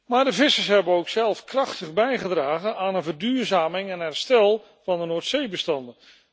Maar de vissers hebben ook zelf krachtig bijgedragen aan een verduurzaming en het herstel van de Noordzeebestanden.